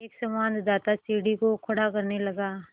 एक संवाददाता सीढ़ी को खड़ा करने लगा